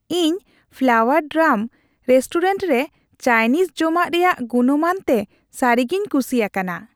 ᱤᱧ flower drum restaurant ᱨᱮ Chinese ᱡᱚᱢᱟᱜ ᱨᱮᱭᱟᱜ ᱜᱩᱱᱢᱟᱱ ᱛᱮ ᱥᱟᱹᱨᱤᱜᱮᱧ ᱠᱩᱥᱤ ᱟᱠᱟᱱᱟ ᱾